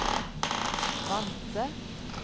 Vanse